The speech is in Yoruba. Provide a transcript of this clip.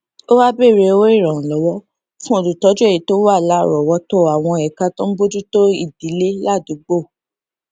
ó wá bèèrè owó ìrànwó fún olùtójú èyí tó wà láròówótó àwọn ẹka tó ń bójú tó ìdílé ládùúgbò